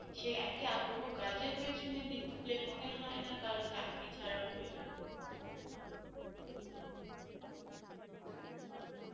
সেই এক ই আগ্রহ কাজের পেছনে দিলে মনে হয়না কারোর চাকরি চারার প্রয়োজন পরত